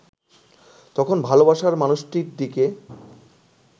তখন ভালোবাসার মানুষটির দিকে